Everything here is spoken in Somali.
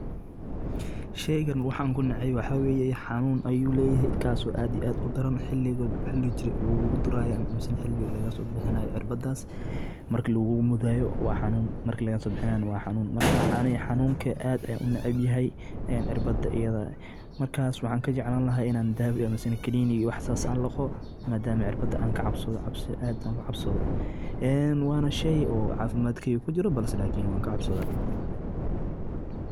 Sheygaan waxan kunacay waxa waye hanun aad iyo aad udaran xiliga lguladurayo oo cirbadas marka lagulamudayo wa hanun, matkalagadobihinayo wa hanun, aniga hanunka aad ayan unacbanyehe, xirbada ayada markas waxan kajeclani lahay ini dawo ama kanini wah sas an lago, madaam cirbada an kacabsodo, aad an ogacabsodo wana shey oo cafimadkeyga kujiro lakin wan kacabsoni.